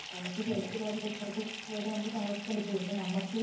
നമുക് സുരക്ഷിതമായിട്ടുള്ള സ്ഥലത്തു മാത്രമേ പോയിട്ട് താമസിക്കാൻ പറ്റുള്ളൂ പിന്നെ നമുക്ക്